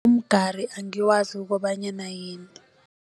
Umgari angiwazi ukobanyana yini.